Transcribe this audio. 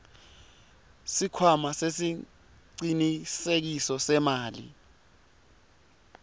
sikhwama sesicinisekiso semali